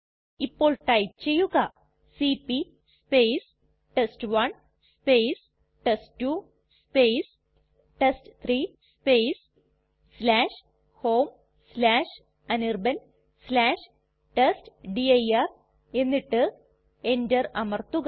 ഇപ്പോൾ ടൈപ്പ് ചെയ്യുക CP test one test two test three homeanirbantestdir എന്നിട്ട് enter അമർത്തുക